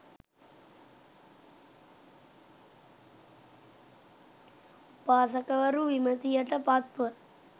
උපාසකවරු, විමතියට පත්ව,